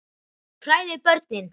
Þú hræðir börnin.